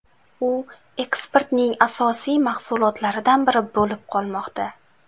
U eksportning asosiy mahsulotlaridan biri bo‘lib qolmoqda.